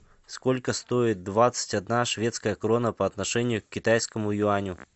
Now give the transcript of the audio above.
сколько стоит двадцать одна шведская крона по отношению к китайскому юаню